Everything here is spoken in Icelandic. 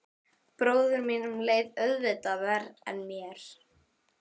Bróður mínum leið auðvitað verr en mér.